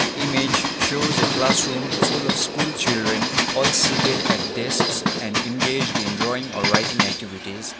the image shows a classroom full of school children all seated at desks and engaged in drawing or writing activities.